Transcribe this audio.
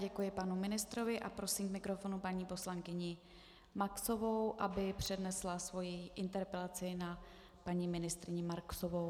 Děkuji panu ministrovi a prosím k mikrofonu paní poslankyni Maxovou, aby přednesla svoji interpelaci na paní ministryni Marksovou.